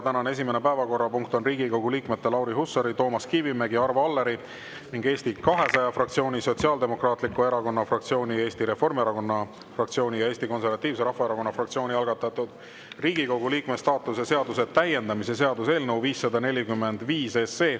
Tänane esimene päevakorrapunkt on Riigikogu liikmete Lauri Hussari, Toomas Kivimägi, Arvo Alleri, Eesti 200 fraktsiooni, Sotsiaaldemokraatliku Erakonna fraktsiooni, Eesti Reformierakonna fraktsiooni ja Eesti Konservatiivse Rahvaerakonna fraktsiooni algatatud Riigikogu liikme staatuse seaduse täiendamise seaduse eelnõu 545.